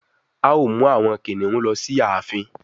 A o mú àwọn kìnìún ló sì ààfin.